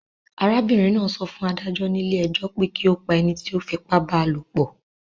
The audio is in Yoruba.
Arábìrin náà so fún adájó nílé ejó pe ki o pa enití o fipá ba lòpò